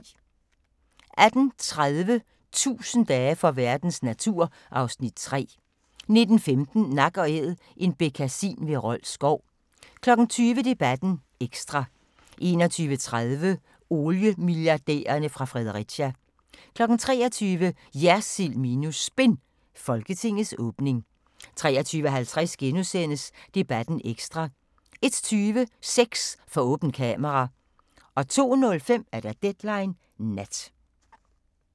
18:30: 1000 dage for verdens natur (Afs. 3) 19:15: Nak & Æd – en bekkasin ved Rold Skov 20:00: Debatten ekstra 21:30: Oliemilliardærerne fra Fredericia 23:00: JERSILD minus SPIN – Folketingets åbning 23:50: Debatten ekstra * 01:20: Sex for åbent kamera 02:05: Deadline Nat